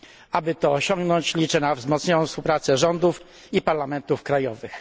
Aby to osiągnąć, liczę na wzmocnioną współpracę rządów i parlamentów krajowych.